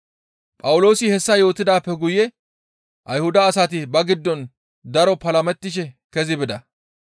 Phawuloosi hessa yootidaappe guye Ayhuda asati ba giddon daro palamettishe kezi bida.